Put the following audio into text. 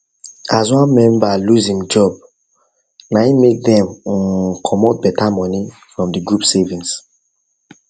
as one member lose im job na im make dem um comot beta money from the group savings